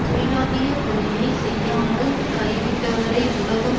தொழிலாகிய குறையை செய்யாமல் கைவிட்டவரை உலகம்